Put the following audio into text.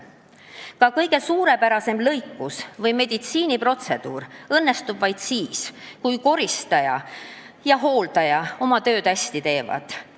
Ka kõige suurepärasem lõikus või meditsiiniprotseduur õnnestub vaid siis, kui ka koristaja ja hooldaja oma tööd hästi teevad.